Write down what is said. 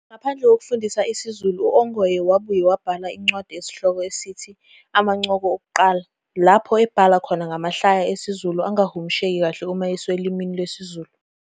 Ngaphandle kokufundisa isiZulu Ongoye wabuye wabhala incwadi esihloko sithi- "Amancoko Okuqala" lapho ebhala khona ngamahlaya esiZulu angahumusheki kahle uma eyiswa olimini lwesiZulu.